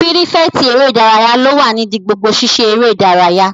Pírífẹ̀tì eré ìdárayá ló wà nídi gbogbo sisé eré ìdárayá